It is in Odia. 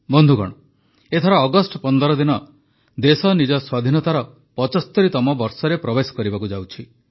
ବନ୍ଧୁଗଣ ଏଥର ଅଗଷ୍ଟ ୧୫ ଦିନ ଦେଶ ନିଜର ସ୍ୱାଧୀନତାର ୭୫ତମ ବର୍ଷରେ ପ୍ରବେଶ କରିବାକୁ ଯାଉଛି